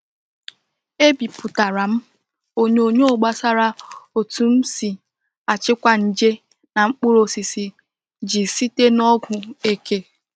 E bipụtara m onyonyo gbasara otu m si achịkwa nje na mkpụrụ osisi ji site na ọgwụ eke.